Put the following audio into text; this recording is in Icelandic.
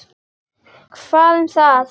Hvað um það!